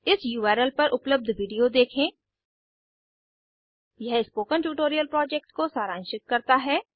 इस उर्ल पर उपलब्ध विडिओ देखें यह स्पोकन ट्यूटोरियल प्रोजेक्ट को सारांशित करता है